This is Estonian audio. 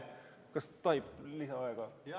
Kas tohib paluda lisaaega?